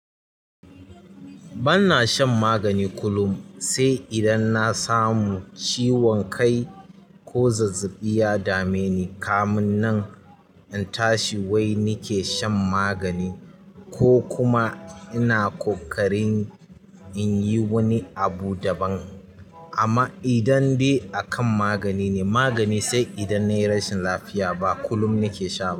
Banna shan magani kulum, sai idan na samu ciwon kai ko zazzaɓi ya dame ni. Kamun nan in tashi wai nike shan magani ko kuma ina ƙoƙarin in yi wani abu daban. Amma idan dai a kan magani ne magani, sai idan nayi rashin lafiya ba kulum nake sha ba.